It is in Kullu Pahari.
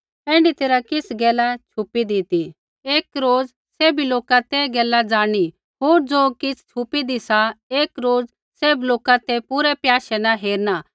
ऐण्ढी तैरहा किछ़ गैला छुपीदी ती एक रोज सैभी लोका ते गैला ज़ाणनी होर ज़ो किछ़ छुपीदी सा एक रोज़ सैभ लोका ते पूरै प्याशै न हेरणा